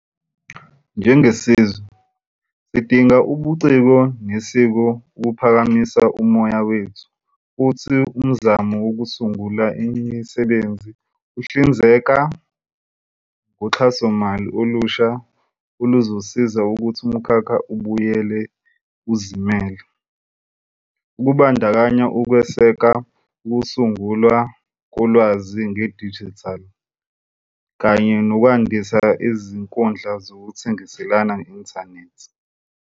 Njengesizwe, sidinga ubuciko nesiko ukuphakamisa umoya wethu futhi umzamo wokusungula imisebenzi uhlinzeka ngoxhasomali olusha oluzosiza ukuthi umkhakha ubuyele uzimele, kubandakanya ukweseka ukusungulwa kolwazi ngedijithali kanye nokwandisa izinkundla zokuthengiselana nge-inthanethi.